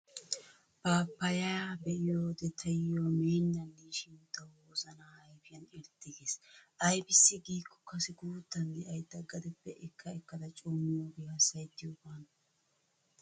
Paappayaa be'iyoode taayyo meennan de'ishin tawu wozana ayfiyan irxxi gees. Aybissi giikko kase guuttan de'ayda gadeppe ekka ekkada coo miyoogee hassayettiyoogaana.